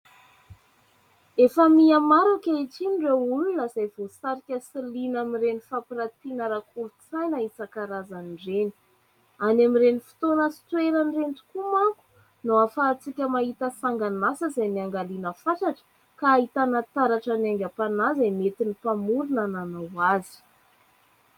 Efa mihamaro ankehitiny ireo olona izay voasarika sy liana amin'ny ireny fampiratina ara-kolontsaina isankarazany ireny ; any amin'ireny fotoana sy toerana tokoa manko no ahafahantsika mahita sangan'asa izay niangaliana fatratra ka ahitana taratra ny aingam-panahy izay noentin' ny mpamorona nanao azy.